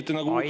Aitäh!